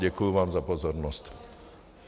Děkuji vám za pozornost.